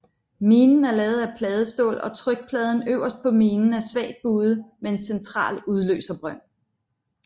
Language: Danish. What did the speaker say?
Minen er lavet af pladestål og trykpladen øverst på minen er svagt buet med en central udløserbrønd